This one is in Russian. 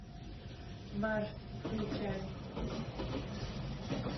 марс включай